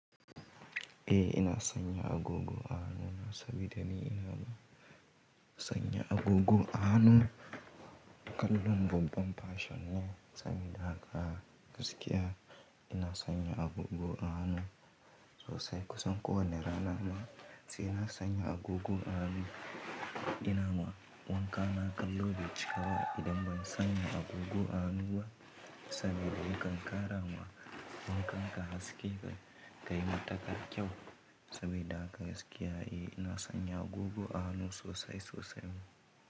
Eh ina sanya agogo a hannu sabida ni ina sanya agogo a hannu. Kallon babban fashion ne sabida haka gaskiya ina sanya agogo a hannu sosai. Kusan kowanne rana nama, sai ina sanya agogo a hannu. Ina ma wanka na kallo bai cika ba idan ban sanya agogo a hannu ba sabida yakan ƙara ma wakan ƙa haske kai matakar kyau sabida haka gaskiya eh ina sanya agogo a hannu sosai sosai ma.